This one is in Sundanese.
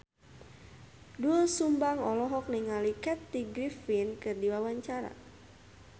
Doel Sumbang olohok ningali Kathy Griffin keur diwawancara